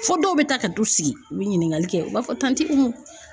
Fo dɔw bɛ taa ka t'u sigi u bɛ ɲininkali kɛ u b'a fɔ Umu.